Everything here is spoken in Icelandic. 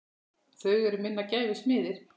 Þau eru minnar gæfu smiðir.